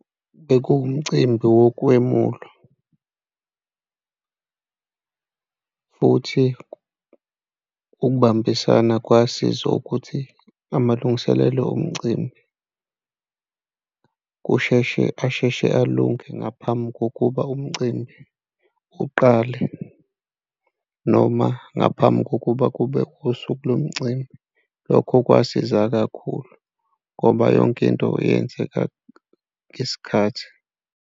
Bekuwumcimbi wokwemulwa futhi ukubambisana kwasiza ukuthi amalungiselelo omcimbi kusheshe, asheshe alunge ngaphambi kokuba umcimbi uqale noma ngaphambi kokuba kube usuku lomcimbi. Lokho kwasiza kakhulu ngoba yonke into eyenzeka ngesikhathi.